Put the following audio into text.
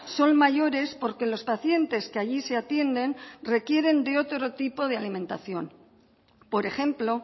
son mayores porque los pacientes que allí se atienden requieren de otro tipo de alimentación por ejemplo